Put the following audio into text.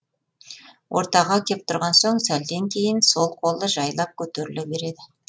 ортаға кеп тұрған соң сәлден кейін сол қолы жайлап көтеріле береді